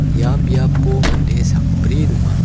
ia biapo mande sakbri donga.